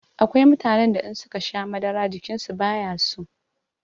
Akwai mutanen da in suka sha madara jikinsu bayaso.